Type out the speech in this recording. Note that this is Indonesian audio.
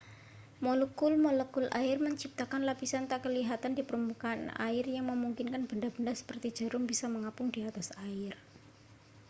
molekul-molekul air menciptakan lapisan tak kelihatan di permukaan air yang memungkinkan benda-benda seperti jarum bisa mengapung di atas air